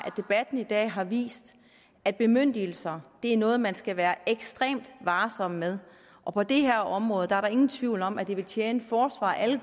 debatten i dag har vist at bemyndigelser er noget man skal være ekstremt varsom med og på det her område er der ingen tvivl om at det vil tjene forsvaret og alle